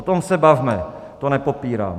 O tom se bavme, to nepopírám.